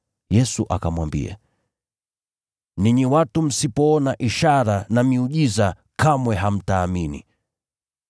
Yesu akamwambia, “Ninyi watu msipoona ishara na miujiza kamwe hamtaamini.”